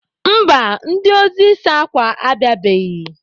Mba, ndị ozi ịsa akwa abịabeghị.